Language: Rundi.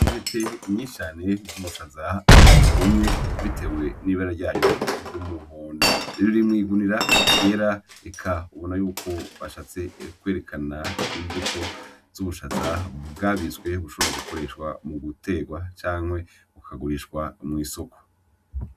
Intete nyinshi cane zubushaza bwumye bitewe nibara ryayo ryumuhondo riri mwigunira ryera eka urabona yuko bashatse kwerekana imbuto zubushaza bwabitswe bushobora gukoreshwa muguterwa canke bakabigurisha mwisoko.